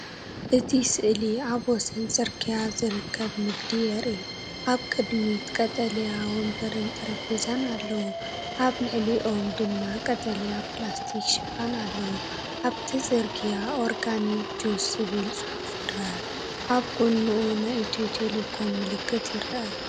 እቲ ስእሊ ኣብ ወሰን ጽርግያ ዝርከብ ንግዲ የርኢ። ኣብ ቅድሚት ቀጠልያ መንበርን ጠረጴዛታትን ኣለዉ። ኣብ ልዕሊኦም ድማ ቀጠልያ ፕላስቲክ ሽፋን ኣለዎ። ኣብቲ ጽርግያ “ኦርጋኒክ ጁስ” ዝብል ጽሑፍ ይርአ ኣብ ጎድኑ ናይ ኢትዮ ቴሌኮም ምልክት ይርአ።